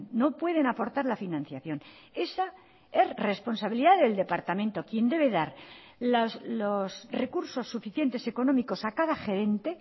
no pueden aportar la financiación esa es responsabilidad del departamento quien debe dar los recursos suficientes económicos a cada gerente